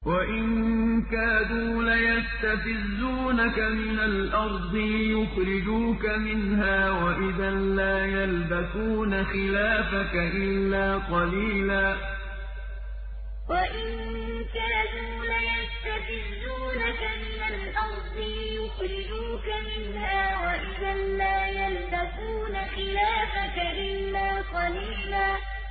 وَإِن كَادُوا لَيَسْتَفِزُّونَكَ مِنَ الْأَرْضِ لِيُخْرِجُوكَ مِنْهَا ۖ وَإِذًا لَّا يَلْبَثُونَ خِلَافَكَ إِلَّا قَلِيلًا وَإِن كَادُوا لَيَسْتَفِزُّونَكَ مِنَ الْأَرْضِ لِيُخْرِجُوكَ مِنْهَا ۖ وَإِذًا لَّا يَلْبَثُونَ خِلَافَكَ إِلَّا قَلِيلًا